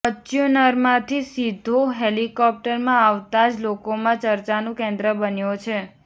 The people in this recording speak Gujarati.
ફોર્ચ્યુનરમાંથી સીધો હેલિકોપ્ટરમાં આવતા જ લોકોમાં ચર્ચાનું કેન્દ્ર બન્યો છે